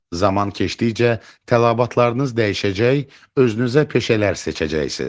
Zaman keçdikcə tələbatlarınız dəyişəcək, özünüzə peşələr seçəcəksiniz.